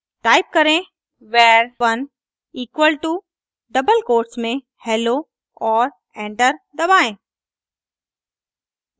type करें var1 equal to double quotes में hello और एंटर दबाएं